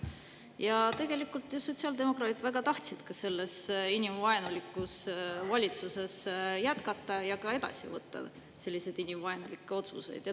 Ja tegelikult sotsiaaldemokraadid väga tahtsid ka selles inimvaenulikus valitsuses jätkata ja edasi võtta selliseid inimvaenulikke otsuseid.